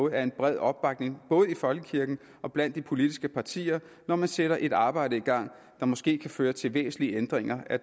en bred opbakning både i folkekirken og blandt de politiske partier når man sætter et arbejde i gang der måske kan føre til væsentlige ændringer af